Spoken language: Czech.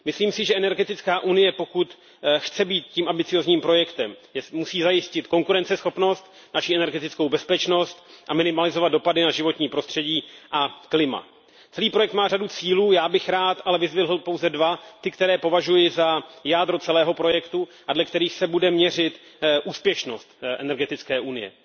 Myslím si, že energetická unie, pokud chce být tím ambiciózním projektem, musí zajistit konkurenceschopnost, naši energetickou bezpečnost a minimalizovat dopady na životní prostředí a klima. Celý projekt má řadu cílů, já bych rád ale vyzdvihl pouze dva, ty, které považuji za jádro celého projektu a dle kterých se bude měřit úspěšnost energetické unie.